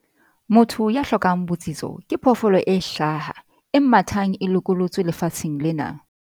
Motho ya hlokang botsitso ke phoofolo e hlaha, e mathang e lokolotswe lefatsheng lena!